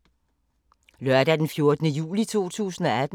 Lørdag d. 14. juli 2018